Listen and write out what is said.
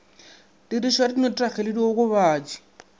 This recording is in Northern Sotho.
tirišo ya dinotagi le diokobatši